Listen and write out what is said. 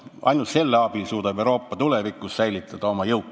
Ainult selle abil suudab Euroopa tulevikus säilitada oma jõukust.